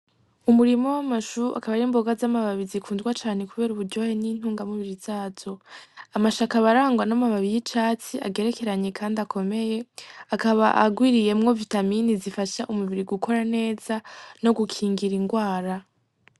Umurima wamashu akaba arimboga z’amababi zikundwa cane kubera uburyohe n'intunga mubiri zazo. Amashu akaba arangwa n'amababi y'icatsi agerekeranye kandi akomeye akaba agwiriyemwo vitamine zifasha umubiri gukora neza nogukingira ingwara.